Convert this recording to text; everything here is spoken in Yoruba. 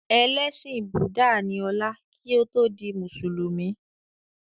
Ẹlẹ́sìn búdà ní ọlá kí ó tó di mùsùlùmí